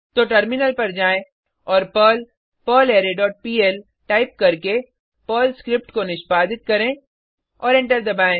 तो टर्मिनल पर जाएँ और Perl perlre dot PL type करके पर्ल स्क्रिप्ट को निष्पादित करें और एंटर दबाएँ